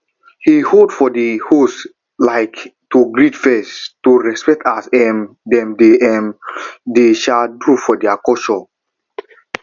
he hold for the host um to greet first to respect as um dem dey um dey um do for their culture